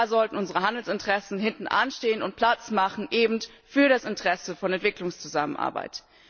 Da sollten unsere Handelsinteressen hinten anstehen und Platz machen für die Anliegen der Entwicklungszusammenarbeit.